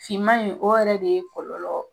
Finman in o yɛrɛ de kɔlɔlɔ.